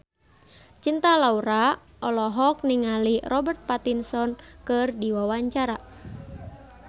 Cinta Laura olohok ningali Robert Pattinson keur diwawancara